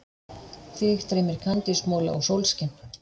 Þig dreymir kandísmola og sólskin.